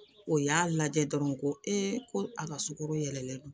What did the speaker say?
O y'a lajɛ dɔrɔn ko ko a ka sukoro yɛlɛlɛlen don